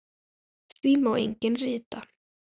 Því má einnig rita